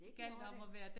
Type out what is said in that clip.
Det gjorde det